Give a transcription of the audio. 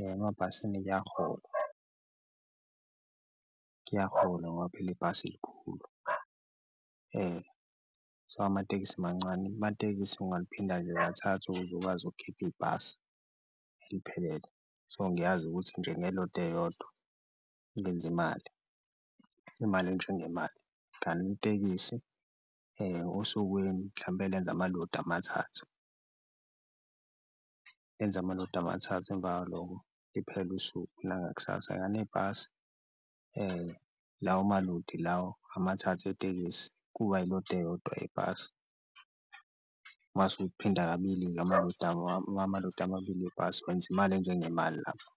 emabhasini kuyaholwa, kuyaholwa ngoba phela ibhasi likhulu so, amatekisi mancane amatekisi ungaliphinda nje ngathathu ukuze ukwazi ukukhipha ibhasi eliphelele so, ngiyazi ukuthi nje ngelodi eyodwa ngenze imali, kmali enjengemali. Kanti itekisi osukwini mhlampe lenza amalodi amathathu, lenza amalodi amathathu emva kwaloko liphele usuku nangakusasa, kani ibhasi lawo malodi lawo amathathu itekisi kuba ilodi eyodwa ebhasi mase uliphinda kabili-ke amalodi amabili ibhasi wenza imali enjengemali lapho.